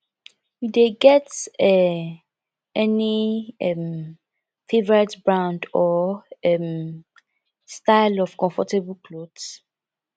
you dey get um any um favorite brand or um style of comfortable clothes